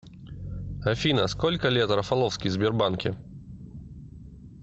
афина сколько лет рафаловский в сбербанке